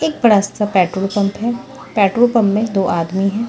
एक बड़ा सा पेट्रोल पंप है पेट्रोल पंप में दो आधा है।